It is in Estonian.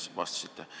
Küllap teil on meeles.